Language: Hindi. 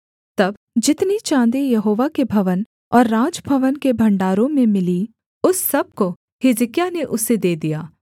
तब जितनी चाँदी यहोवा के भवन और राजभवन के भण्डारों में मिली उस सब को हिजकिय्याह ने उसे दे दिया